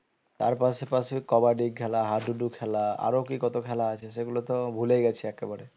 তার পাশে পাশে কাবাডি খেলা হাডুডু খেলা আরো কি কত খেলা আছে সেগুলো তো ভুলে গেছি একেবারে